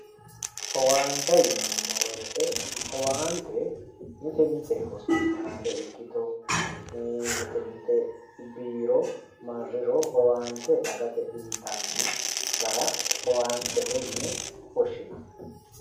Owaante yinneemmo woyte owaante mite mite hosipitale ikkitanna mite mite biiro owaante dagate uyittano owaantete yinne woshshinanni.